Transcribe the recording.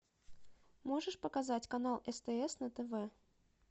можешь показать канал стс на тв